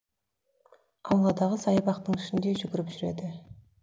ауладағы саябақтың ішінде жүгіріп жүреді